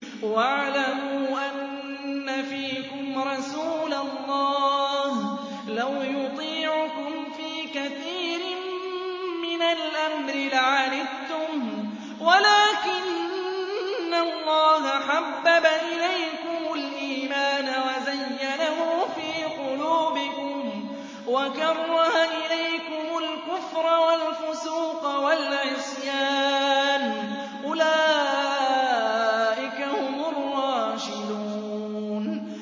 وَاعْلَمُوا أَنَّ فِيكُمْ رَسُولَ اللَّهِ ۚ لَوْ يُطِيعُكُمْ فِي كَثِيرٍ مِّنَ الْأَمْرِ لَعَنِتُّمْ وَلَٰكِنَّ اللَّهَ حَبَّبَ إِلَيْكُمُ الْإِيمَانَ وَزَيَّنَهُ فِي قُلُوبِكُمْ وَكَرَّهَ إِلَيْكُمُ الْكُفْرَ وَالْفُسُوقَ وَالْعِصْيَانَ ۚ أُولَٰئِكَ هُمُ الرَّاشِدُونَ